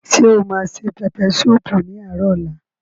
Ṣé o ma se pẹpẹ súùpù ní àárò ọ̀la?